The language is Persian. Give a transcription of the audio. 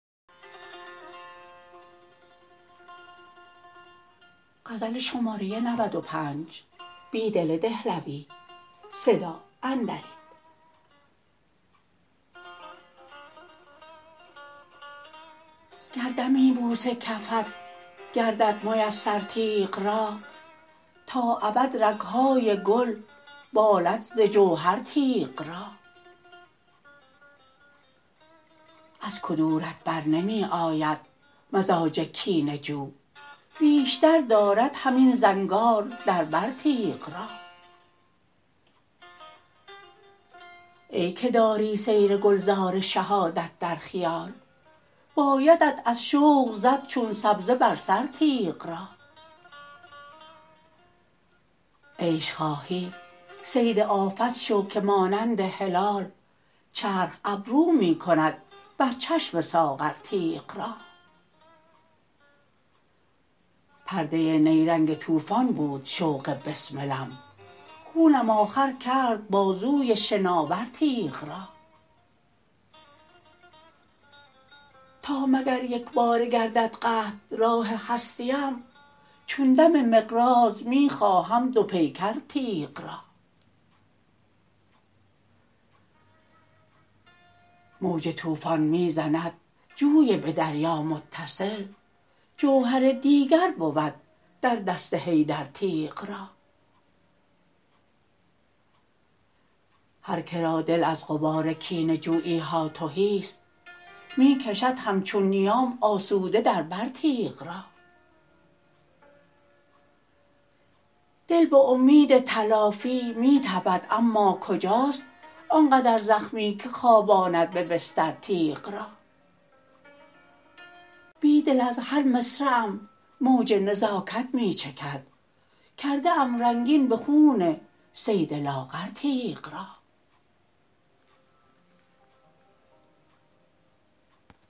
گر دمی بوس کفت گردد میسر تیغ را تا ابد رگهای گل بالد ز جوهر تیغ را ازکدورت برنمی آید مزاج کینه جو بیشتر دارد همین زنگار در بر تیغ را ای که داری سیرگلزار شهادت در خیال بایدت از شوق زد چون سبزه برسرتیغ را عیش خواهی صید آفت شوکه مانند هلال چرخ ابرومی کند برچشم ساغرتیغ را پرده نیرنگ توفان بود شوق بسملم خونم آخرکرد بازوی شناور تیغ را تا مگر یکباره گردد قطع راه هستی ام چون دم مقراض می خواهم دو پیکر تیغ را موج توفان می زند جوی به دریامتصل جوهر دیگر بود در دست حیدر تیغ را هرکه را دل از غبارکینه جوییها تهی ست می کشد همچون نیام آسوده در برتیغ را دل به امید تلافی می تپد اماکجاست آنقدر زخمی که خواباند به بسترتیغ را بیدل از هرمصرعم موج نزاکت می چکد کرده ام رنگین به خون صید لاغرتیغ را